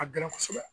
A ka gɛlɛn kosɛbɛ